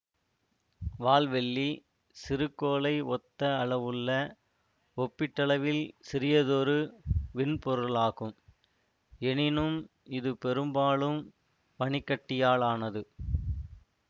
வால்வெள்ளி சிறுகோளை ஒத்த அளவுள்ள ஒப்பீட்டளவில் சிறியதொரு விண்பொருளாகும் எனினும் இது பெரும்பாலும் பனிக்கட்டியாலானது